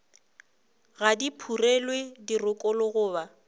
ga di phurelwe dirokolo goba